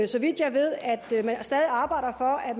så vidt jeg ved at man stadig arbejder for at